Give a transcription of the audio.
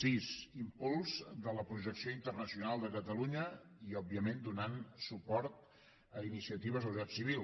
sis impuls de la projecció internacional de catalunya i òbviament donant suport a iniciatives de la societat civil